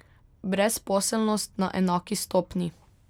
Brezposelnost na enaki stopnji.